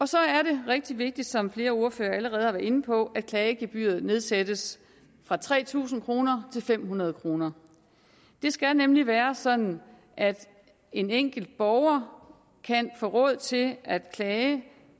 så er det rigtig vigtigt som flere ordførere allerede har været inde på at klagegebyret nedsættes fra tre tusind kroner til fem hundrede kroner det skal nemlig være sådan at en enkelt borger kan få råd til at klage